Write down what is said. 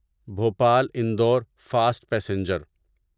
Bhopal Indore fast passenger